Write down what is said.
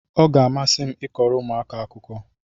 Ọ ga-amasị m ịkọrọ ụmụaka akụkọ